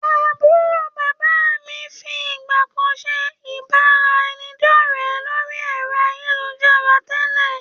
Àbúrò bàbá mií fi ìgbàkan ṣe ìbára ẹni dọ̀rẹ lórí ẹ̀rọ ayélujára tẹ́lẹ̀